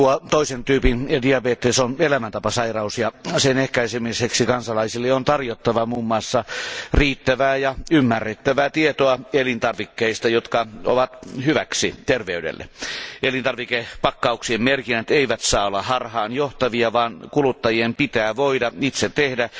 Toisen tyypin diabetes on elämäntapasairaus ja sen ehkäisemiseksi kansalaisille on tarjottava muun muassa riittävää ja ymmärrettävää tietoa elintarvikkeista, jotka ovat hyväksi terveydelle. Elintarvikepakkauksien merkinnät eivät saa olla harhaanjohtavia, vaan kuluttajien pitää voida itse tehdä